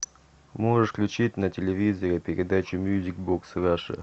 можешь включить на телевизоре передачу мьюзик бокс раша